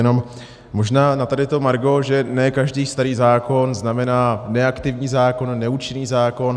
Jenom možná na tady to margo, že ne každý starý zákon znamená neaktivní zákon, neúčinný zákon.